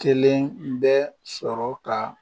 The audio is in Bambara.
Kelen bɛ sɔrɔ ka